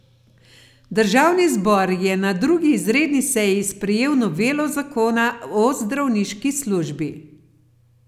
Državni zbor je na drugi izredni seji sprejel novelo zakona o zdravniški službi.